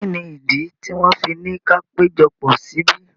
Kí ni ìdí tí wọ́n fi ni ka péjọpọ̀ síbí?